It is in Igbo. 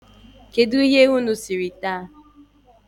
Kedu ihe unu siri taa?